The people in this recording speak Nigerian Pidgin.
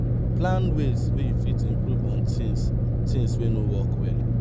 plan ways wey you fit improve on those things things wey no work well